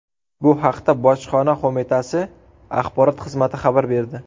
Bu haqda Bojxona qo‘mitasi axborot xizmati xabar berdi.